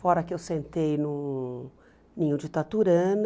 Fora que eu sentei no ninho de taturana,